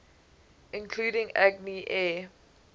including agni air